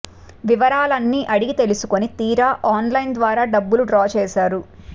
వివరాలన్ని అడిగి తెలుసుకొని తీరా ఆన్లైన్ ద్వారా డబ్బు డ్రా చేశారు